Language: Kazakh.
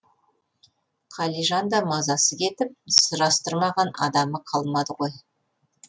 қалижан да мазасы кетіп сұрастырмаған адамы қалмайды ғой